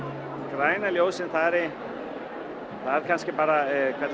græna ljósið er kannski bara